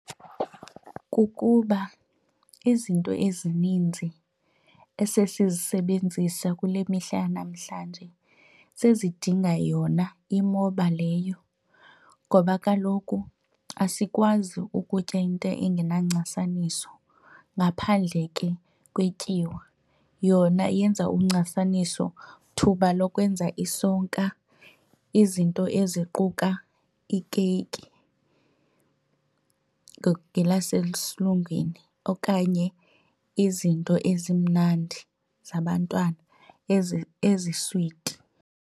Kukuba izinto ezininzi esesizisebenzisa kule mihla yanamhlanje sezidinga yona imoba leyo ngoba kaloku asikwazi ukutya into engenancasaniso. Ngaphandle ke kwetyiwa, yona yenza uncasaniso thuba lokwenza isonka izinto eziquka ikeyiki ngelasesilungwini okanye izinto ezimnandi zabantwana eziswiti.